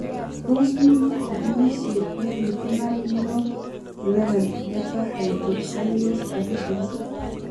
Tos mi chikilisiet nepitunat nebo 11 beta hydroxylase deficiency?